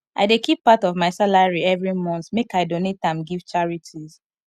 i dey keep part of my salary every month make i donate am give charities